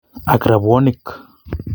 Ak robwonik